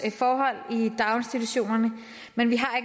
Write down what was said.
forhold i daginstitutionerne men vi har